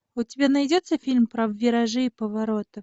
у тебя найдется фильм про виражи и повороты